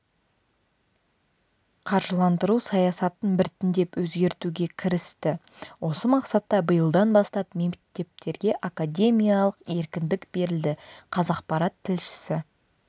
қаржыландыру саясатын біртіндеп өзгертуге кірісті осы мақсатта биылдан бастап мектептерге академиялық еркіндік берілді қазақпарат тілшісі